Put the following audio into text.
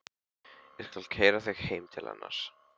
Ég skal keyra þig heim til hennar.